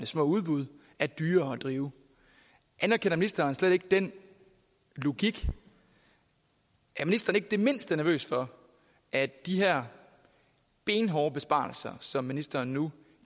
små udbud er dyrere at drive anerkender ministeren slet ikke den logik er ministeren ikke det mindste nervøs for at de her benhårde besparelser som ministeren nu